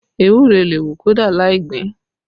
Ewúro lè hù kódà lai gbìn ín